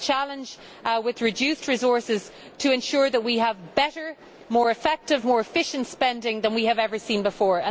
We have a challenge to ensure, with reduced resources, that we have better, more effective and more efficient spending than we have ever seen before.